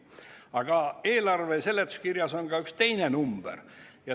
Aga eelarve seletuskirjas on ka üks teine number.